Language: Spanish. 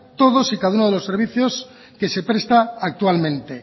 todos y cada uno de los servicios que se presta actualmente